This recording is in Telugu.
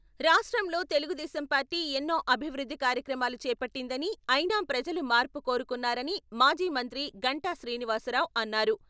రాష్ట్రంలో తెలుగుదేశం పార్టీ ఎన్నో అభివృద్ధి కార్యక్రమాలు చేపట్టిందని, అయినా ప్రజలు మార్పు కోరుకున్నారని మాజీ మంత్రి గంటా శ్రీనివాస్ రావు అన్నారు.